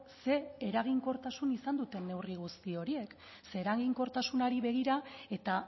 ze eraginkortasun izan duten neurri guzti horiek ze eraginkortasunari begira eta